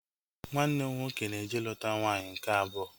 Nwanne m nwoke na-eje iluta nwaanyị nke abụọ